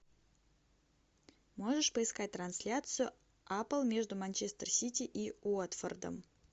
можешь поискать трансляцию апл между манчестер сити и уотфордом